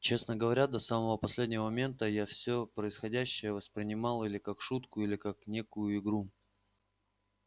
честно говоря до самого последнего момента я все происходящее воспринимала или как шутку или как некую игру